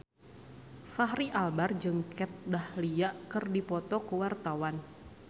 Fachri Albar jeung Kat Dahlia keur dipoto ku wartawan